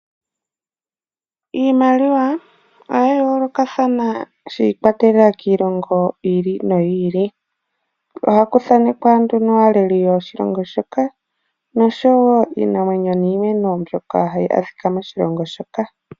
Iimaliwa oya yoolokathana shi ikwatelela kiilonga yi ili noyi ili. Ohaku thaanekwa nee nduno aaleli yoshilongo shoka noshowo iinamwenyo mbyoka hayi adhika moshilongo moka.